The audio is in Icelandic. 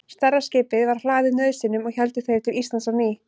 Stærra skipið var hlaðið nauðsynjum og héldu þeir til Íslands á ný.